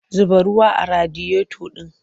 Zuba ruwa a radiyota ɗin!